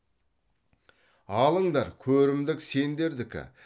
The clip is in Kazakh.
алыңдар көрімдік сендердікі